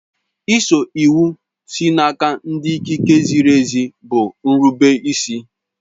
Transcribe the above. Ịso iwu sị n'aka ndị ikike ziri ezi bụ nrubeisi